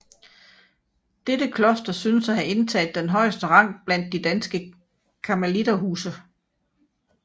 Dette kloster synes at have indtaget den højeste rang blandt de danske karmeliterhuse